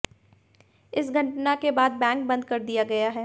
इस घटना के बाद बैंक बंद कर दिया गया है